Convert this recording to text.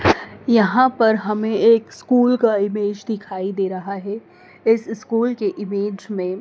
यहां पर हमें एक स्कूल का इमेज दिखाई दे रहा है इस स्कूल के इमेज में--